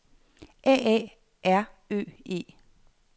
A A R Ø E